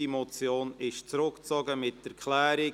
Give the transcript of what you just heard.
Diese Motion ist zurückgezogen mit Erklärung.